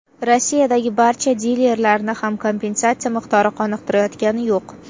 Rossiyadagi barcha dilerlarni ham kompensatsiya miqdori qoniqtirayotgani yo‘q.